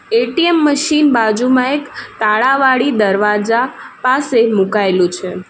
ATM machine બાજુમાં એક તાળા વાળી દરવાજા પાસે મુકાયેલું છે.